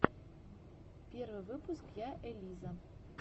первый выпуск я элиза